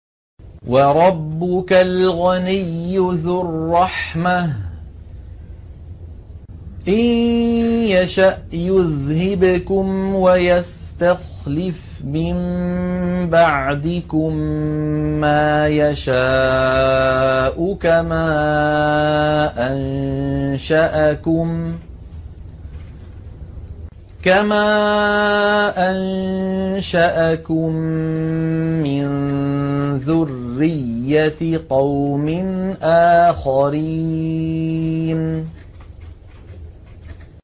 وَرَبُّكَ الْغَنِيُّ ذُو الرَّحْمَةِ ۚ إِن يَشَأْ يُذْهِبْكُمْ وَيَسْتَخْلِفْ مِن بَعْدِكُم مَّا يَشَاءُ كَمَا أَنشَأَكُم مِّن ذُرِّيَّةِ قَوْمٍ آخَرِينَ